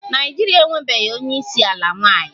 Naịjirịa enwebeghị onye isi ala nwanyị